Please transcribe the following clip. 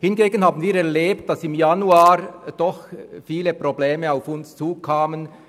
Hingegen haben wir erlebt, dass im Januar viele Probleme auf uns zukamen.